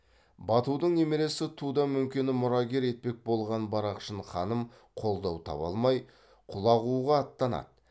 батудың немересі туда мөңкені мұрагер етпек болған барақшын ханым қолдау таба алмай құлағуға аттанады